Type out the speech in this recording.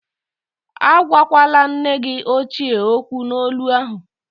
Agwakwala nne gi ochie okwu n'olu ahụ!